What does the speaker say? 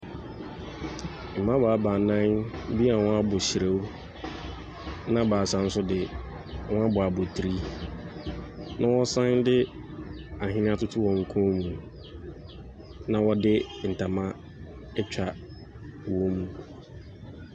Mmabaawa baanan bi a wɔabɔ hyirew, na baasa nso de, wɔbɔ abotire, na wɔsan de ahwenneɛ atoto wɔn kɔn mu, na wɔde ntoma atwa wɔn mu.